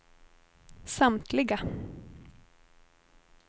samtliga